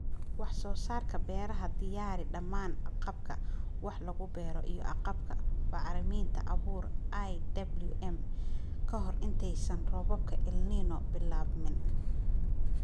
Wax-soo-saarka Beeraha Diyaari dhammaan agabka wax lagu beero iyo agabka (bacriminta, abuur, iwm.) ka hor intaysan roobabka El Niño bilaabmin.